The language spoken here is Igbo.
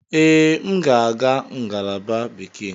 Ee, m ga-aga ngalaba Bekee.